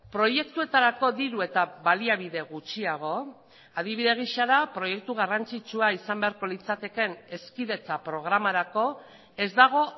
proiektuetarako diru eta baliabide gutxiago adibide gisa da proiektu garrantzitsua izan beharko litzatekeen hezkidetza programarako ez dago